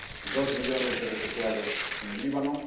dos millones de refugiados en el Líbano